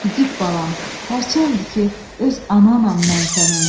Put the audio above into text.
İgid balam, hər kəs şahiddir ki, öz ananam mən sənin.